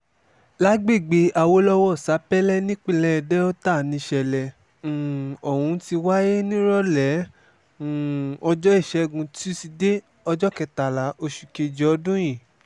lágbègbè awolowo sápẹ́lẹ́ nípínlẹ̀ delta níṣẹ̀lẹ̀ um ohun ti wáyé nírọ̀lẹ́ um ọjọ́ ìṣẹ́gun túṣídéé ọjọ́ kẹtàlá oṣù kejì ọdún yìí